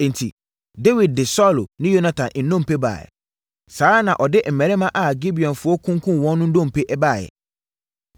Enti, Dawid de Saulo ne Yonatan nnompe baeɛ. Saa ara na ɔde mmarima a Gibeonfoɔ kunkumm wɔn no nnompe baeɛ.